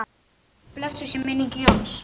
Blessuð sé minning Jóns.